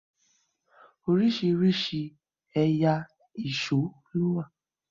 orisirisi ẹyà Èṣó ló wá